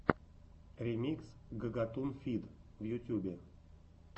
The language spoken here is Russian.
ремикс гагатун фид в ютюбе